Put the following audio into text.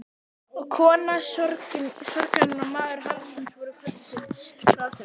Og kona sorgarinnar og maður harmsins voru kölluð til ráðstefnu.